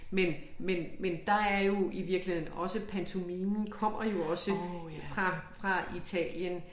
Men men men der er jo i virkeligheden også pantomimen kommer jo også fra fra Italien